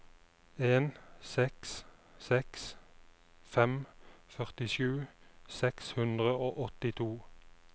en seks seks fem førtisju seks hundre og åttito